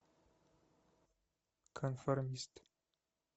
конформист